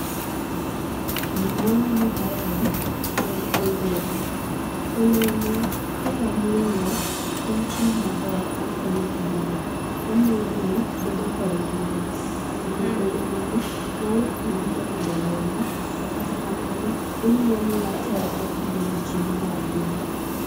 Gima waneno kaeni en olemo. Olemo kaka wang'eyo, en chiemo maber makonyo e del. Omiyo del bedo kod ngima. Omiyo olemoni nyalo konyi e medo remo, to kata kamano, omiya miwa teko kendo mijing'o mar del.